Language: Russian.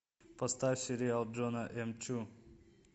поставь сериал джона м чу